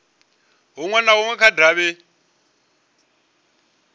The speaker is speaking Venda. hunwe na hunwe kha davhi